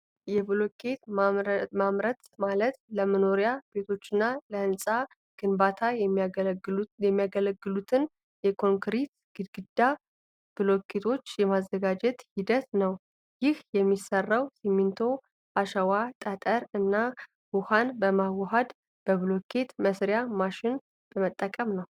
የብሎኬት ማምረት ማለት ለመኖሪያ ቤቶችና ለህንፃ ግንባታ የሚያገለግሉትን የኮንክሪት ግድግዳ ብሎኬቶች የማዘጋጀት ሂደት ነው። ይህ የሚሰራው ሲሚንቶ፣ አሸዋ፣ ጠጠር እና ውሃን በማዋሃድ በብሎኬት መሥሪያ ማሽን በመጠቀም ነው።